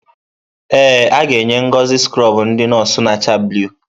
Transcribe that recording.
Ee, aga-enye Ngozi skrọbụ ndị nọọsụ na-acha blụu.